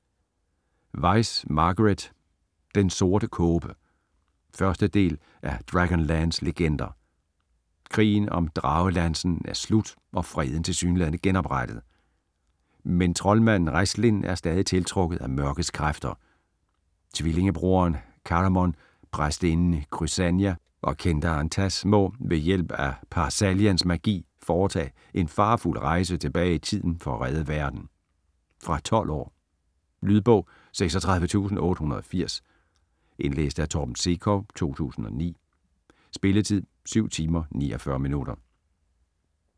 Weis, Margaret: Den sorte kåbe 1. del af Dragonlance legender. Krigen om Dragelansen er slut og freden tilsyneladende genoprettet. Men troldmanden Raistlin er stadig tiltrukket af mørkets kræfter. Tvillingebroderen Caramon, præstinden Crysania og kendaren Tas må - ved hjælp af Par-Salians magi - foretage en farefuld rejse tilbage i tiden for at redde verden. Fra 12 år. Lydbog 36880 Indlæst af Torben Sekov, 2009. Spilletid: 7 timer, 49 minutter.